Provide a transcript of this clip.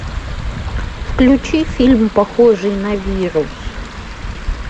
включи фильм похожий на вирус